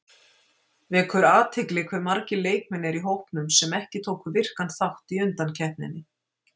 Vekur athygli hve margir leikmenn eru í hópnum sem ekki tóku virkan þátt í undankeppninni.